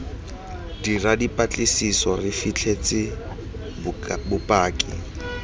dira dipatlisiso re fitlhetse bopaki